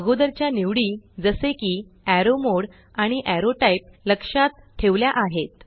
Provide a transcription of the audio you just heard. अगोदरच्या निवडी जसे की एरो मोडे एरॉ मोड आणि एरो टाइप एरॉ टाइप लक्षात ठेवल्या आहेत